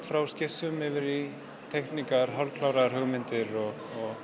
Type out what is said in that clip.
frá skissum yfir í teikningar hugmyndir og